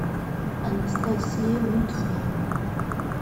анастасия мультфильм